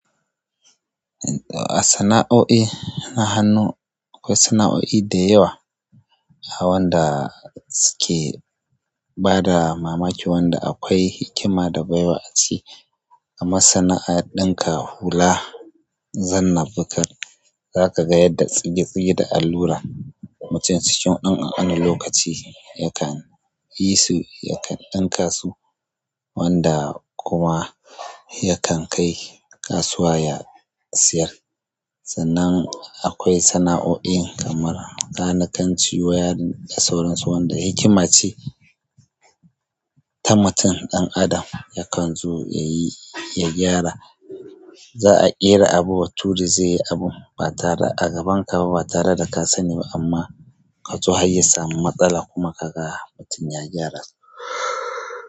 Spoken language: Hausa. A sana'o'i na hannu, akwai sana'o'i da dayawa wanda suke bada mamaki, wanda akwai hikima da baiwa a ciki. Amma sana'ar ɗinka hula, zanna, bukar, zaka ga yadda tsige tsige da allura mutum cikin ɗan ƙanƙanin lokaci yakan yi su, yakan ɗinka su wanda kuma yakan kai ƙasuwa ya siyar. Sannan akwai sana'o'in kamar kanakanci, wiring da sauransu wanda hikima ce ta mutum ɗan adam yakan zo yayi ya gyara. Za'a ƙera abu bature zai yi abun ba tare a gaban ka ba, ba tare da ka sani ba amma kazo harya samu matsala kuma kaga mutum ya gyara.